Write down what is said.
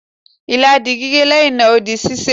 ila di gige, leyin naa, O di sise